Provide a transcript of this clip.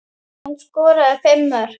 Hún skoraði fimm mörk.